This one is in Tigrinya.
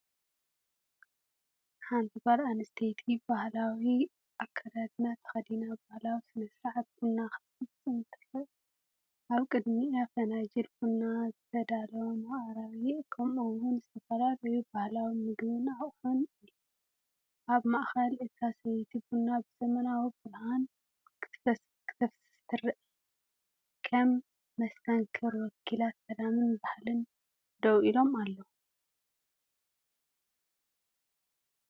ሓንቲ ጓል ኣንስተይቲ ባህላዊ ኣከዳድና ተኸዲና ባህላዊ ስነ-ስርዓት ቡን ክትፍጽም ትረአ። ኣብ ቅድሚኣ ፋናጅል ቡን፡ዝተዳለወ መቅረቢ፡ከምኡ’ውን ዝተፈላለየ ባህላዊ ምግቢን ኣቕሑን ኣሎ። ኣብ ማእከል እታ ሰበይቲ ቡና ብዘመናዊ ብርሃን ክትፍስስ ተራእያ። ከም መስተንክር ወከልቲ ሰላምንባህልን ደው ኢሎም ኣለው።